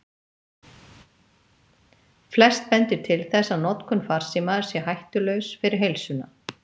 Flest bendir til þess að notkun farsíma sé hættulaus fyrir heilsuna.